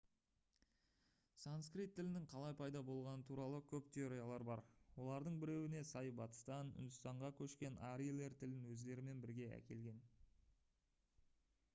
санскрит тілінің қалай пайда болғаны туралы көп теориялар бар олардың біреуіне сай батыстан үндістанға көшкен арийлер тілін өздерімен бірге әкелген